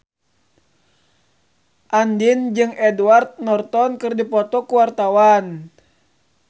Andien jeung Edward Norton keur dipoto ku wartawan